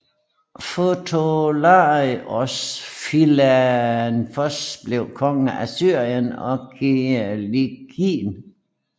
Ptomelaios Filadelfos blev konge af Syrien og Kilikien